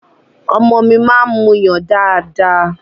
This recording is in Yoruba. Ọmọ mi máa ń muyàn dáadáa.